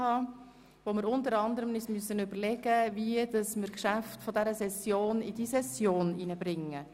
Dann werden wir uns unter anderem überlegen müssen, wie wir die Geschäfte dieser Session in die Session hineinbringen.